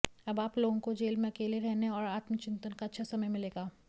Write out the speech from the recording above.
अब आप लोगों को जेल में अकेले रहने और आत्मचिन्तन का अच्छा समय मिलेगा